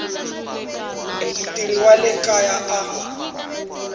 mutirhi wa le kaya a